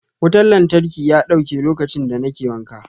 Wutan lantarki ya dauke lokaci da ne ke wanka.